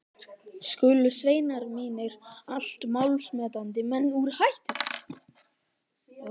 Skulu sveinar mínir, allt málsmetandi menn úr